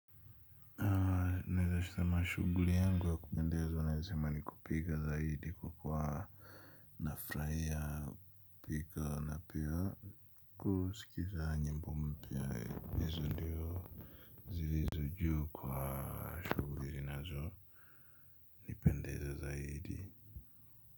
Sema shuguli yangu ya kupendezwa naezasema ni kupiga zaidi kwa kwa nafraia pika na pia kusikiza nyimbo mpia hizo ndiyo zilizo juu kwa shuguli nazo ni pendeza zaidi.